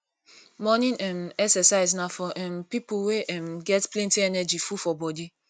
morning um exercise na for um pipo wey um get plenty energy full for body